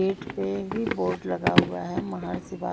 gate पे भी board लगा हुआ है महर्षि वाल--